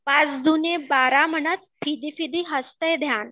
पाच दुणे बारा म्हणत फिदी फिदी हसतय ध्यान